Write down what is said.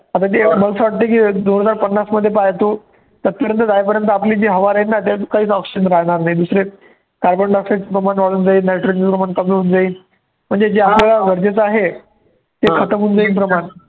आता जे असं वाटतं की दोन हजार पन्नासमध्ये पहा तू सत्तरला जाई पर्यंत आपली जी हवा राहील ना त्यातून काहीच option राहणार नाही. दुसरे carbon dioxide प्रमाण वाढून जाईन nitrogen चं प्रमाण कमी होऊन जाईल म्हणजे जे आपल्याला गरजेचं आहे ते होऊन जाईल प्रमाण